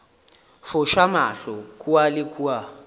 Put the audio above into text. foša mahlo kua le kua